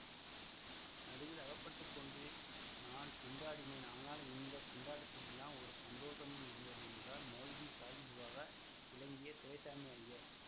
நடுவில் அகப்பட்டு கொண்டு நான் திண்டாடினேன் ஆனால் இந்த திண்டாட்டத்திலெல்லாம் ஒரு சந்தோஷமும் இருந்தது என்றார் மௌல்வி சாகிபுவாக விளங்கிய துரைசாமி ஐயர்